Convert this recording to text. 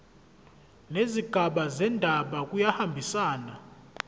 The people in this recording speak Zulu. nezigaba zendaba kuyahambisana